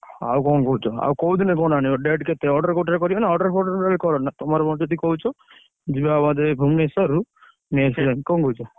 ଆଉ କଣ କହୁଛ। ଆଉ କୋଉ ଦିନ phone ଆଣିବ? date କେତେ? order କୋଉଥିରେ କରିବ ନା? order ଫଡ଼ର total କରନା ତମର ଯଦି କହୁଛ ଯିବା ଭୁବନେଶ୍ବରରୁ, ନେଇଆସିବା ଯାଇ କଣ କହୁଛ?